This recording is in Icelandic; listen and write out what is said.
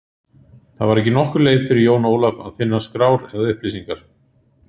Það var ekki nokkur leið fyrir Jón Ólaf að finna skrár eða upplýsingar.